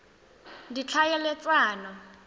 ditlhaeletsano